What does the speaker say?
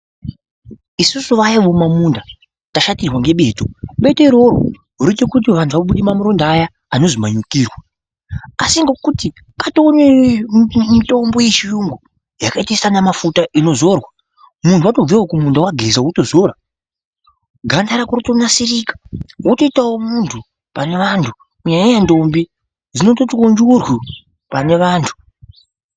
Isusu vaya vemumamunda tashatirwa ngebeto, beto iroro roita kuti vanti vabude maronda aya anozi mamunyukirwa asi ngekuti katove nemitombo echiyungu yakaita sanamafuta inozorwa muntu watobvawo kumunda wageza wotozora ganda rako rotonasirika wotoitawo muntu pane vantu kunyanyanya ntombi dzinototiwo njurwu pane antu.